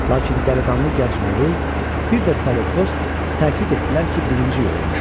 Lakin dəliqanlı gənc Muley, bir də Salekos təkid etdilər ki, birinci yol yaxşıdır.